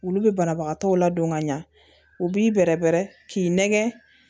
Olu bɛ banabagatɔw ladon ka ɲɛ u b'i bɛrɛ bɛrɛ k'i nɛgɛ